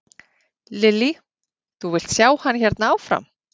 Lillý: Þú vilt sjá hann hérna áfram?